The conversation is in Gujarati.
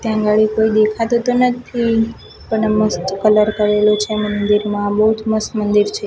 ત્યાં ગાડી કોઈ દેખાતું તો નથી પણ આ મસ્ત કલર કરેલું છે મન્દિરમાં બોજ મસ્ત મન્દિર છે.